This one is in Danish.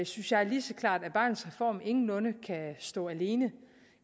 synes jeg lige så klart at barnets reform ingenlunde kan stå alene